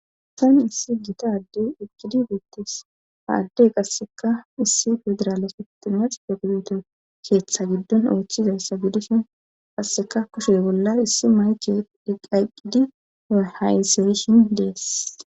tan issi gita ade eqqidi beettes haaddey qasseka issi pedrala feftinnas peguyuto keeththa giddon oochchizayssa gidishin qasseka kushe bolla issi mayke diqaqidi ahaayseyishin dees